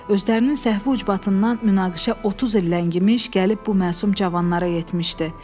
Özlərinin səhvi ucbatından münaqişə 30 il ləngimiş, gəlib bu məsum cavanlara yetmişdi.